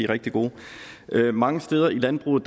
rigtig gode mange steder i landbruget